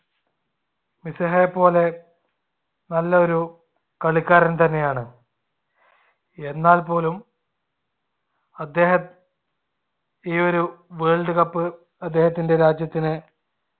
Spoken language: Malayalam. മെസ്സിഹയെപോലെ നല്ല ഒരു കളിക്കാരൻ തന്നെയാണ് . എന്നാൽ പോലും അദ്ദേഹം ഈ ഒരു world cup അദ്ദേഹത്തിന്റെ രാജ്യത്തിന്